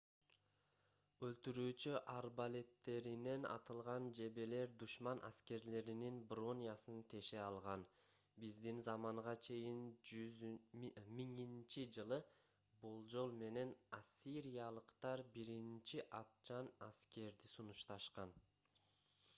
өлтүрүүчү арбалеттеринен атылган жебелер душман аскерлеринин бронясын теше алган. биздин заманга чейин 1000—жылы болжол менен ассириялыктар биринчи атчан аскерди сунушташкан